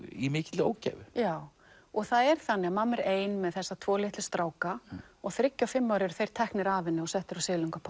í mikilli ógæfu já og það er þannig að mamma er ein með þessa tvo litlu stráka og þriggja og fimm ára eru þeir teknir af henni og settir á